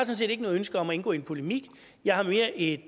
set ikke noget ønske om at indgå i en polemik jeg har mere et